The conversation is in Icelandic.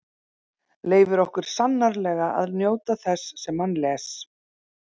Leyfir okkur sannarlega að njóta þess sem hann les.